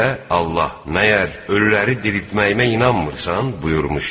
Allah: Məgər ölüləri diriltməyimə inanmırsan? buyurmuşdu.